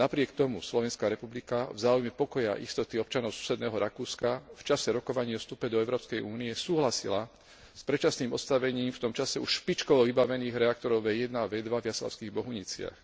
Napriek tomu Slovenská republika v záujme pokoja a istoty občanov susedného Rakúska, v čase rokovaní o vstupe do Európskej únie, súhlasila s predčasným odstavením v tom čase už špičkovo vybavených reaktorov V1 a V2 v Jaslovských Bohuniciach.